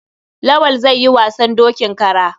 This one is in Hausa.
Lawal zai yi wasan dokin kara.